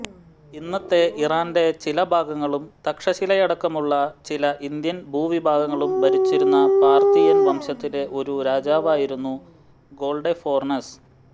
ഇന്നത്തെ ഇറാന്റെ ചില ഭാഗങ്ങളും തക്ഷശിലയടക്കമുള്ള ചില ഇന്ത്യൻ ഭൂവിഭാഗങ്ങളും ഭരിച്ചിരുന്ന പാർത്തിയൻ വംശത്തിലെ ഒരു രാജാവായിരുന്നു ഗൊർഡഫോർണസ്